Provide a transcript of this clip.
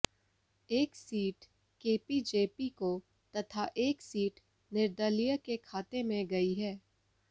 एक सीट केपीजेपी को तथा एक सीट निर्दलीय के खाते में गई है